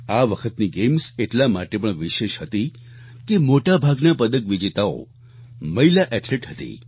આ વખતની ગેમ્સ એટલા માટે પણ વિશેષ હતી કે મોટાભાગના પદક વિજેતાઓ મહિલા એથ્લેટ હતી